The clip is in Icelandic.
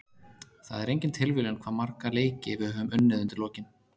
Það er engin tilviljun hvað marga leiki við höfum unnið undir lokin.